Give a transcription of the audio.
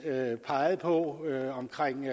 pegede på omkring